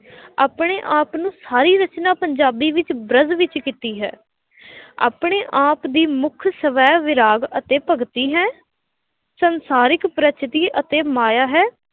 ਆਪਣੇ ਆਪ ਨੂੰ ਸਾਰੀ ਰਚਨਾ ਪੰਜਾਬੀ ਵਿੱਚ ਬ੍ਰਜ ਵਿੱਚ ਕੀਤੀ ਹੈ ਆਪਣੇ ਆਪ ਦੀ ਮੁੱਖ ਸਵੈ ਵਿਰਾਗ ਅਤੇ ਭਗਤੀ ਹੈ, ਸੰਸਾਰਿਕ ਪ੍ਰਕਿਰਤੀ ਅਤੇ ਮਾਇਆ ਹੈ।